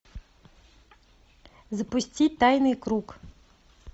запусти тайный круг